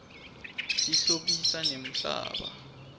tihlobisa nemhlaba